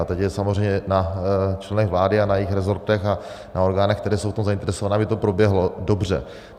A teď je samozřejmě na členech vlády a na jejich resortech a na orgánech, které jsou v tom zainteresované, aby to proběhlo dobře.